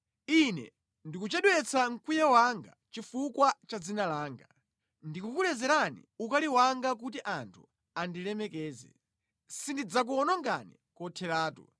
Ine ndikuchedwetsa mkwiyo wanga chifukwa cha dzina langa. Ndikukulezerani ukali wanga kuti anthu andilemekeze. Sindidzakuwonongani kotheratu.